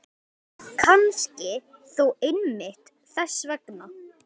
Kannski þó einmitt þess vegna.